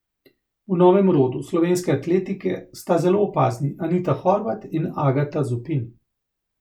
V novem rodu slovenske atletike sta zelo opazni Anita Horvat in Agata Zupin.